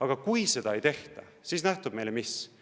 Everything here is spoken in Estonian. Aga kui seda ei tehta, siis nähtub meile mis?